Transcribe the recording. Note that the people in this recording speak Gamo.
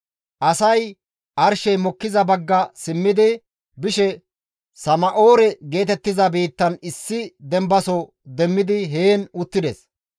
Asay arshey mokkiza bagga simmidi bishe Sana7oore geetettiza biittan issi dembaso demmidi heen uttides.